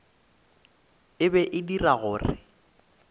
e be e dira gore